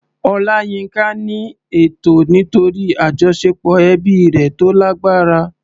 Olayinka ní ẹ̀tọ́ nítorí àjọṣepọ̀ ẹbí rẹ̀ tó lágbára.